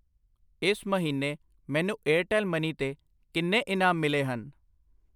ਇਸ ਮਹੀਨੇ ਮੈਨੂੰ ਏਅਰਟੈੱਲ ਮਨੀ ਤੇ ਕਿੰਨੇ ਇਨਾਮ ਮਿਲੇ ਹਨ?